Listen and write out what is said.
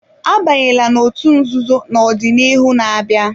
Abanyela n'otú nzuzo na ọdịnihu na-abịa!